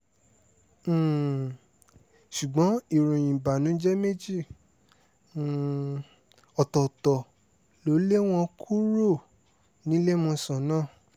um ṣùgbọ́n ìròyìn ìbànújẹ́ méjì um ọ̀tọ̀ọ̀tọ̀ ló lé wọn kúrò níléemọ̀sán náà